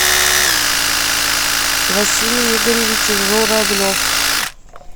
василий игоревич журавлев